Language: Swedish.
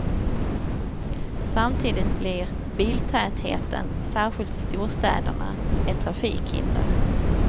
Samtidigt blir biltätheten, särskilt i storstäderna, ett trafikhinder.